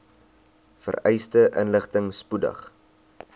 vereiste inligting spoedig